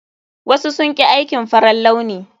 Wasu sun ƙi aikin farar launi.